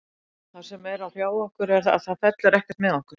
Það sem er að hrjá okkur er að það fellur ekkert með okkur.